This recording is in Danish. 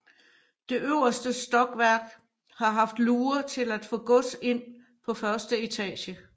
Det øverste stokværk har haft luger til at få gods ind på første etage